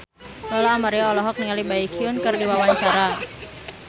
Lola Amaria olohok ningali Baekhyun keur diwawancara